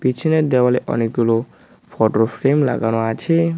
পিছনের দেওয়ালে অনেকগুলো ফোটো ফ্রেম লাগানো আছে।